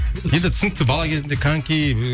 енді түсінікті бала кезіңде коньки ы